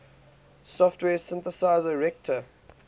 software synthesizer reaktor